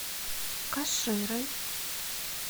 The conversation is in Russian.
каширой